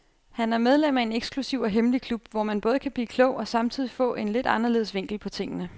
Han er medlem af en eksklusiv og hemmelig klub, hvor man både kan blive klog og samtidig få en lidt anderledes vinkel på tingene.